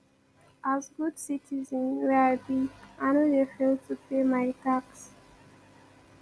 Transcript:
as good citizen wey i be i no dey fail to pay my tax